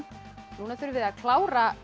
núna þurfið þið að klára